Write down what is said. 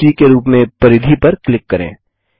बिंदु सी के रूप में परिधि पर क्लिक करें